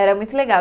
Era muito legal.